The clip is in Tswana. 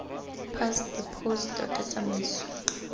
past the post tota tsamaiso